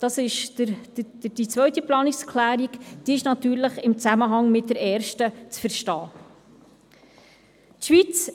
Dies entspricht der zweiten Planungserklärung, welche natürlich im Zusammenhang mit der ersten zu verstehen ist.